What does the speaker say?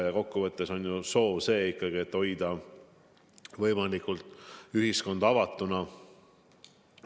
Kokkuvõttes on ju soov ikkagi see, et hoida ühiskond võimalikult avatuna.